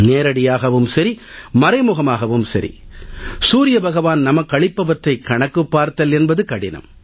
நேரடியாகவும் சரி மறைமுகமாகவும் சரி சூரிய பகவான் நமக்களிப்பவற்றைக் கணக்குப் பார்த்தல் என்பது கடினம்